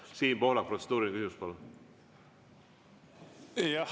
Siim Pohlak, protseduuriline küsimus, palun!